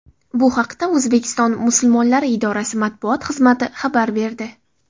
Bu haqda O‘zbekiston musulmonlari idorasi matbuot xizmati xabar berdi.